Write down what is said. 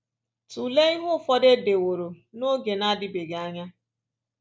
Tụlee ihe ụfọdụ e deworo n’oge na-adịbeghị anya